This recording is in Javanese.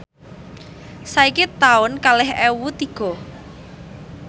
saiki taun kalih ewu tiga